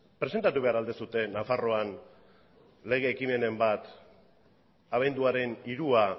presentatu behar al duzue nafarroan lege ekimenen bat abenduaren hirua